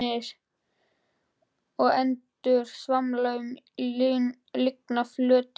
Svanir og endur svamla um lygnan flötinn.